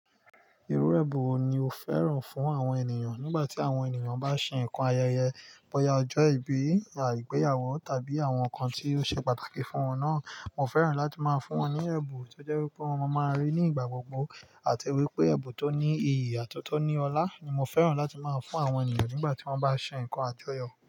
Irú ẹbun wo ni o fẹ́ràn fún àwọn ènìyàn nígbà tí àwọn ènìyàn bá ṣe nǹkan ayẹyẹ, bọ́ya ọjọ́ ìbí, a igbéyàwó tàbí àwọn nǹkan tí ó ṣe pàtàkì fún wọn náà. Mo fẹ́ràn láti máa fún wọn ní ẹbun tó jẹ́ wípé wọn máa máa rí ní ìgbà gbogbo àti wípé ẹbun tó ní iyì àtọ́tọ́ ní ọlá ni mo fẹ́ràn láti máa fún àwọn ènìyàn nígbà tí wọ́n bá ṣe nǹkan àjọyọ̀